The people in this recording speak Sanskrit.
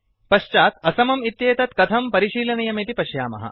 पश्चात् असमम् इत्येतत् कथं परिशीलनीयमिति पश्यामः